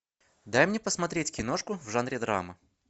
дай мне посмотреть киношку в жанре драма